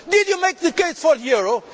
Did you make the case for the